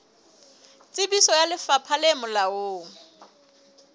tsebiso ya lefapha le molaong